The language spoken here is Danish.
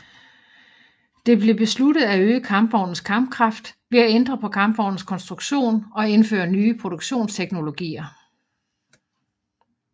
Det blev besluttet at øge kampvognens kampkraft ved at ændre på kampvognens konstruktion og indføre nye produktionsteknologier